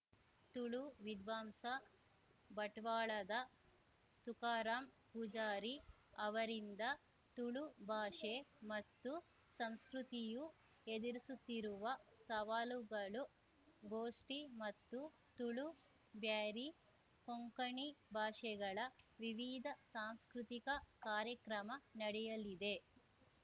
ತುಳು ವಿದ್ವಾಂಸ ಬಟ್ವಾಳದ ತುಕಾರಾಂ ಪೂಜಾರಿ ಅವರಿಂದ ತುಳು ಭಾಷೆ ಮತ್ತು ಸಂಸ್ಕೃತಿಯು ಎದುರಿಸುತ್ತಿರುವ ಸವಾಲುಗಳು ಗೋಷ್ಠಿ ಮತ್ತು ತುಳು ಬ್ಯಾರಿ ಕೊಂಕಣಿ ಭಾಷೆಗಳ ವಿವಿಧ ಸಾಂಸ್ಕೃತಿಕ ಕಾರ್ಯಕ್ರಮ ನಡೆಯಲಿದೆ